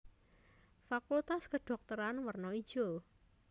Fakultas Kedhokteran werna ijo